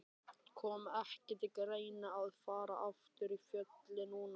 Kom ekki til greina að fara aftur í Fjölni núna?